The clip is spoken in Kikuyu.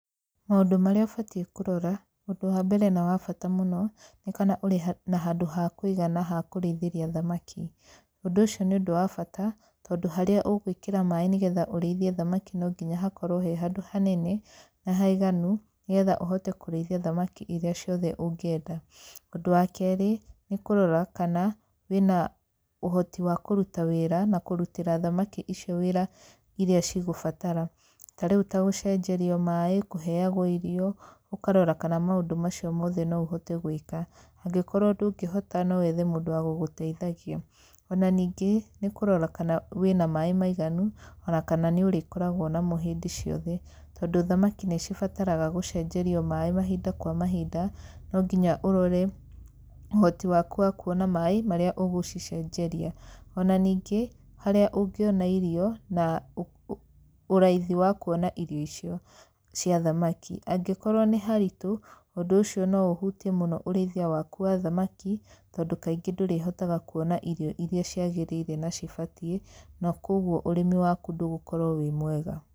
Maũndũ marĩa ũbatiĩ kũrora ũndũ wa mbere na wa bata mũno, nĩ kana ũrĩ na handũ ha kũigana ha kũrĩithĩria thamaki. Ũndũ ũcio nĩ ũndũ wa bata, tondũ harĩa ũgũĩkĩra maĩ nĩ getha ũrĩithie thamaki no nginya hakorwo he hanene na haiganu nĩ getha ũhote kũrĩithia thamaki irĩa ciothe ũngĩenda. Ũndũ wa keerĩ, nĩ kũrora kana wĩna ũhoti wa kũruta wĩra ta kũrutĩra thamaki icio wĩra irĩa cigũbatara. Ta rĩu ta gũcenjerio maĩ kũheagwo irio. Ũkarora kana maũndũ macio mothe no ũhote gwĩka. Angĩkorwo ndũngĩhota no wethe mũndũ wa gũgũteithagia. Ona ningĩ, nĩ kũrora kana wĩna maĩ maiganu ona kana nĩ ũrĩkoragwo namo hĩndĩ ciothe, tondũ thamaki nĩ cibataraga gũcenjerio maĩ mahinda kwa mahinda, no nginya ũrore ũhoti waku wa kuona maĩ marĩa ũgũcicenjeria. Ona ningĩ harĩa ũngĩona irio na ũraithi wa kuona irio icio cia thamaki. Angĩkorwo nĩ haritũ, ũndũ ũcio no ũhutie mũno ũrĩithia waku wa thamaki, tondũ kaingĩ ndũrĩhotaga kuona irio irĩa ciagĩrĩire na cibatiĩ na kũguo ũrĩmi waku ndũgũkorwo wĩ mwega.